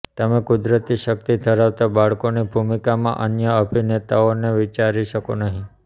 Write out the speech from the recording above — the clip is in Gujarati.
તમે કુદરતી શક્તિ ધરાવતા બાળકની ભૂમિકામાં અન્ય અભિનેતાને વિચારી શકો નહીં